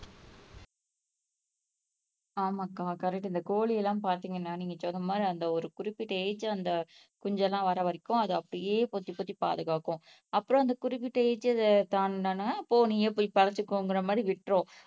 ஆமாங்க்கா கரெக்ட், இந்த கோழி எல்லாம் பாத்தீங்கன்னா நீங்க சொன்ன மாதிரி அந்த ஒரு குறிப்பிட்ட ஏஜ் அந்த குஞ்சு எல்லாம் வர்ரவரைக்கும் அது அப்படியே பொத்தி பொத்தி பாதுகாக்கும் அப்புறம் அந்த குறிப்பிட்ட ஏஜ்ஜை தாண்டுன உடனே போ நீயே போய் பாத்துக்கோங்கிற மாதிரி விட்டுரும்